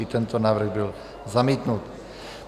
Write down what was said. I tento návrh byl zamítnut.